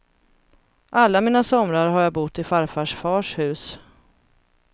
Alla mina somrar har jag bott i farfars fars hus.